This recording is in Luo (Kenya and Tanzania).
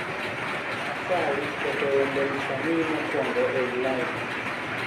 Asayi keto wende msanii mokwongo ei lain